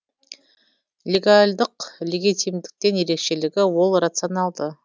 легальдық легитимдіктен ерекшелігі ол рационалды